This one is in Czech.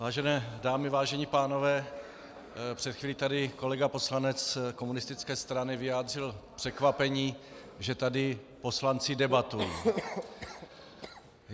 Vážené dámy, vážení pánové, před chvíli tady kolega poslanec komunistické strany vyjádřil překvapení, že tady poslanci debatují.